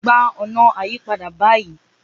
Gba una ayipada bayii